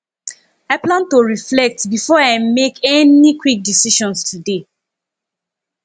i plan to reflect before i make any quick decisions today